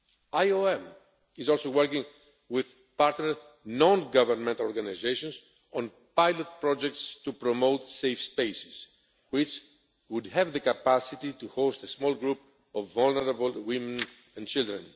IOM is also working with partner non governmental organisations on pilot projects to promote safe spaces which would have the capacity to host a small group of vulnerable women and children.